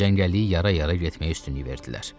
Cəngəlliyi yara-yara getməyə üstünlük verdilər.